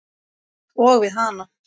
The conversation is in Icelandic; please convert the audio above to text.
Og við hana.